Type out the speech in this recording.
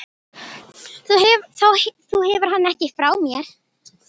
Þú hefur hann ekki frá mér.